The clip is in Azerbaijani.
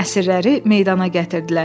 Əsirləri meydana gətirdilər.